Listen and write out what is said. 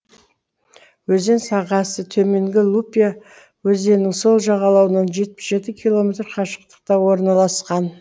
өзен сағасы төменгі лупья өзеннің сол жағалауынан жетпіс жеті километр қашықтықта орналасқан